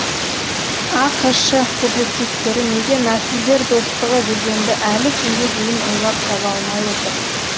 ақш публицистері неге нәсілдер достығы дегенді әлі күнге дейін ойлап таба алмай отыр